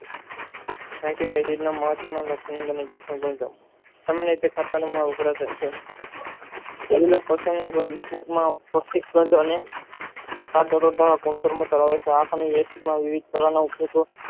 એંટીકેટીને ગુણધર્મો કરવે છે અને આ સમય